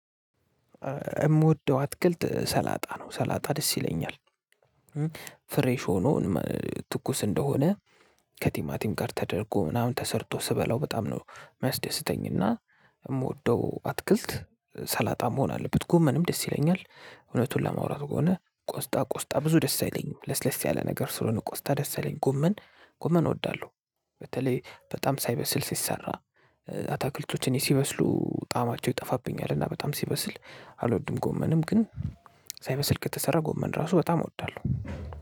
የምወደው አትክልት ሰላጣ ነው ሰላጣ ደስ ይለኛል። ፍሬሽ ሆኖ ትኩስ እንደሆነ ከቲማቲም ጋር ተደርጎ ምናምን ተሰርቶ ስበላው በጣም ነው የሚያስደስተኝና። የምወደው አትክልት ሰላጣ መሆን አለበት ጎመንም ደስ ይለኛል። እውነቱን ለማውራት ከሆነ ቆስጣ ቆስጣ ብዙ ደስ አይለኝም ለስለስ ያለ ነገር ስለሆነ ቆስጣ ደስ አይለኝም። ጎመን ጎመን እወዳለሁ። በተለይ በጣም ሳይበስል ሲሰራ አታክልቶችን እኔ ሲበስሉ ጣዕማቸው ይጠፋብኛል። እና በጣም ሲበስል አልወድም። ጎመንም ግን ሳይበስል ከተሰራ ጎመን ራሱ በጣም እወዳለሁ።